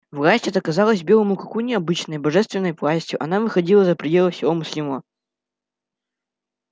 власть эта казалась белому клыку необычной божественной властью она выходила за пределы всего мыслимого